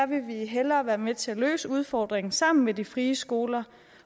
vil vi hellere være med til at løse udfordringen sammen med de frie skoler